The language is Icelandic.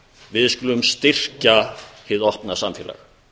við skulum styrkja hið opið samfélag